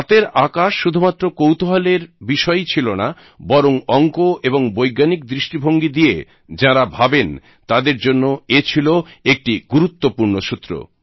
রাতের আকাশ শুধুমাত্র কৌতুহলের বিষয়ই ছিল না বরং অঙ্ক এবং বৈজ্ঞানিক দৃষ্টিভঙ্গি দিয়ে যাঁরা ভাবেন তাঁদের জন্য এ ছিল একটি গুরুত্বপূর্ন সূত্র